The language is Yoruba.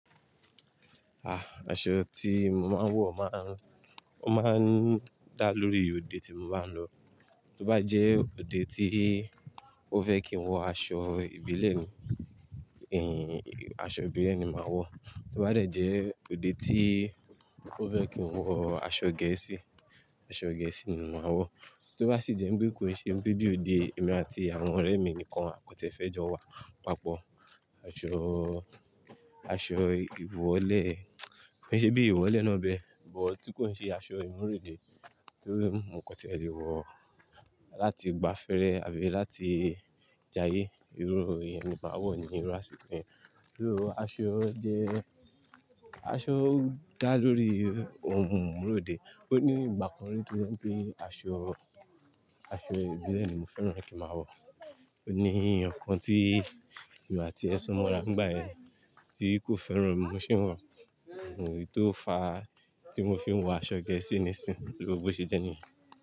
Ah, aṣọ tí mo máa ń wọ̀ máa ń, ó máa ń dá lórí òde tí mo bá ń lọ. Tó bá jẹ́ òde tí ó fẹ́ kí n wọ aṣọ ìbílẹ̀ ni, ẹ́ n, aṣọ ìbílẹ̀ ni màá wọ̀. Tó bá de jẹ́ òde tí ó fẹ́ kí n wọ aṣọ gẹ̀ẹ́sì, aṣọ gẹ̀ẹ́sì ni màá wọ̀. Tó bá sì jẹ́ pé kò sí ohun bí i òde èmi àti àwọn ọ̀rẹ́ mi nìkan kọ́ tí ẹ fẹ́ jọ wa, pàápọ̀, aṣọ, aṣọ ìwọ́lẹ̀, kò sí bíi ìwọ́lẹ̀ nábẹ́, but tí kò ń ṣe aṣọ ìmúrode tóri mọ̀ ọ́n kọ́ tí ẹ lè wọ̀ láti gbafẹ́rẹ àbí láti jayé, irú eyẹn ni màá wọ̀ ní irú àsìkò yẹn. Bí owó aṣọ jẹ́, aṣọ dá lórí ohun ìmúrode. Ó ní ìgbà kan rí to je ń pe aṣọ, aṣọ ìbílẹ̀ ni mo fẹ́ràn ni kí màá wọ̀. Ó ní eyan kan tí èmi àti e sun mora nigbayẹn tí kò fẹ́ràn bi mo ṣe n wọ̀, eyi tó ò fàá ti mo fi n wọ aṣọ gẹ̀ẹ́sì nísìnyí, bí ó ṣe jẹ́ niyen.